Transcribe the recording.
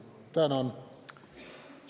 Tänan!